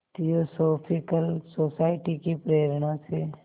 theosophical society की प्रेरणा से